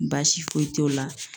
Baasi foyi t'o la.